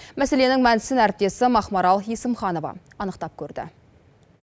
мәселенің мәнісін әріптесім ақмарал есімханова анықтап көрді